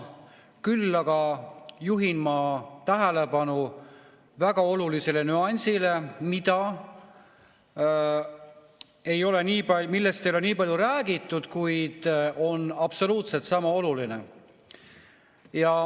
Küll aga juhin tähelepanu väga olulisele nüansile, millest ei ole nii palju räägitud, kuid mis on absoluutselt sama oluline.